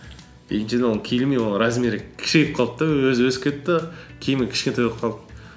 киілмей ол размері кішірейіп қалды да өзі өсіп кетті киімі кішкентай болып қалды